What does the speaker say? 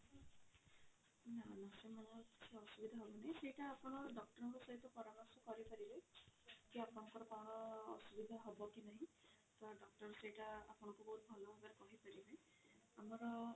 ନା ନା ସେମାନଙ୍କ କିଛି ଅସୁବିଧା ହବନି ସେଇଟା ଆପଣ doctor ଙ୍କ ସହିତ ପରାମର୍ଶ କରି ପାରିବେ କି ଆପଣଙ୍କର କଣ ଅସୁବିଧା ହବ କି ନାହିଁ ତ doctor ସେଇଟା ଆପଣଙ୍କୁ ବହୁତ ଭଲ ଭାବରେ କହି ପାରିବେ ଆମର